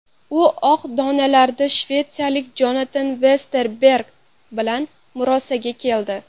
U oq donalarda shvetsiyalik Jonatan Vesterberg bilan murosaga keldi.